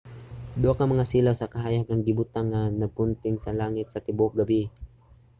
duha ka mga silaw sa kahayag ang gibutang nga nagpunting sa langit sa tibuok gabii